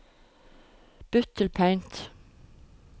Bytt til Paint